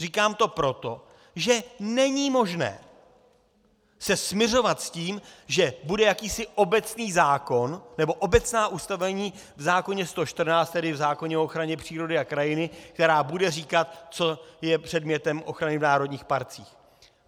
Říkám to proto, že není možné se smiřovat s tím, že bude jakýsi obecný zákon nebo obecná ustanovení v zákoně 114, tedy v zákoně o ochraně přírody a krajiny, která budou říkat, co je předmětem ochrany v národních parcích.